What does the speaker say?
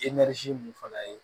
mun fana ye